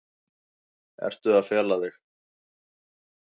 Ertu að fela þig?